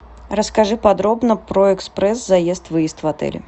расскажи подробно про экспресс заезд выезд в отеле